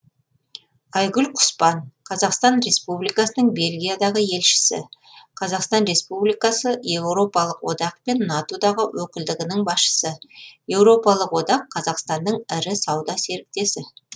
айгүл құспан қазақстан республикасының бельгиядағы елшісі қазақстан республикасы еуропалық одақ пен нато дағы өкілдігінің басшысы еуропалық одақ қазақстанның ірі сауда серіктесі